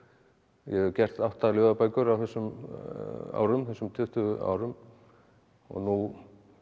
ég hef gert átta ljóðabækur á þessum árum þessum tuttugu árum og nú